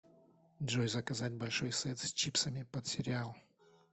джой заказать большой сет с чипсами под сериал